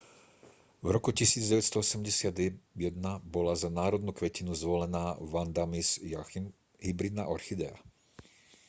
v roku 1981 bola za národnú kvetinu zvolená vanda miss joaquim hybridná orchidea